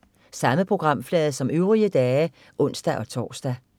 Samme programflade som øvrige dage (ons-tors)